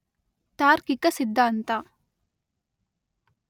ತಾರ್ಕಿಕ ಸಿದ್ಧಾಂತ